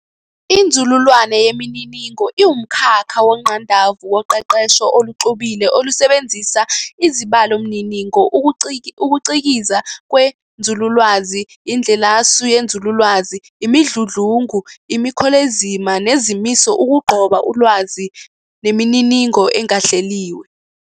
INzululwazi yeMininingo iwumkhakha wongqandavu woqeqesho oluxubile olusebenzisa izibalomininingo, ukucikiza kwenzululwazi, indlelasu yenzululwazi, imidludlungu, imikholezima nezimiso ukugqoba ulwazi nemininingo engahleliwe.